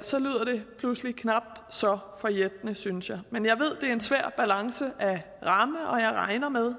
så lyder det pludselig knap så forjættende synes jeg men jeg ved at er en svær balance at ramme og jeg regner med